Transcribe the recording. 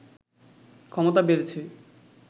ক্ষমতা বেড়েছে